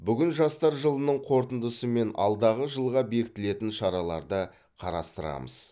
бүгін жастар жылының қорытындысы мен алдағы жылға бекітілетін шараларды қарастырамыз